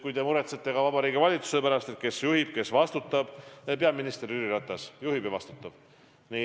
Kui te muretsete ka Vabariigi Valitsuse pärast – kes juhib ja kes vastutab –, siis peaminister Jüri Ratas juhib ja vastutab.